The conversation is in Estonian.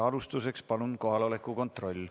Alustuseks palun kohaloleku kontroll.